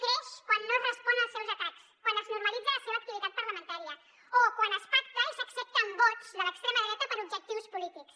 creix quan no es respon als seus atacs quan es normalitza la seva activitat parlamentària o quan es pacta i s’accepten vots de l’extrema dreta per objectius polítics